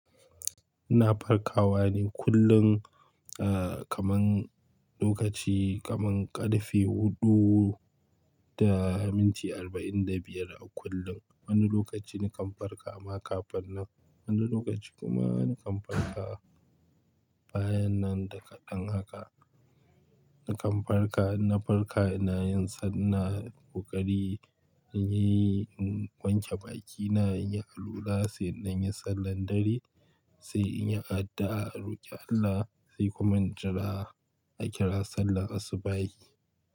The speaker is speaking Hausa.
Na farkawa ne kullum, eh kaman lokaci kaman ƙarfe huɗu da minti arba'in da biyar a kullum. Wani lokaci nakan farka amma kafin nan, wani lokaci kuma nakan farka bayan nan da kaɗan haka. Nakan farka, na farka ina yin sallah, ina koƙari, in yi wanke bakina, in yi alwala sai in yi sallar dare, sai in yi addu'a, roƙi Allah sai kuma in jira a kira sallar asubahi.